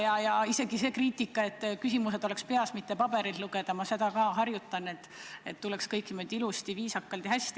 Ma arvestan isegi seda kriitikat, et küsimused oleksid peas, mitte paberilt loetud, ja ma seda ka harjutan, et kõik tuleks välja niimoodi ilusasti, viisakalt ja hästi.